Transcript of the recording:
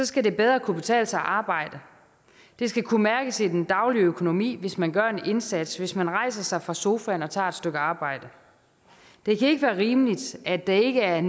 skal det bedre kunne betale sig at arbejde det skal kunne mærkes i den daglige økonomi hvis man gør en indsats hvis man rejser sig fra sofaen og tager et stykke arbejde det kan ikke være rimeligt at der ikke er